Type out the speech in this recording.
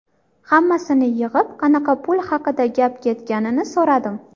Hammasini yig‘ib, qanaqa pul haqida gap ketganini so‘radim.